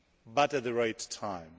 but at the right time.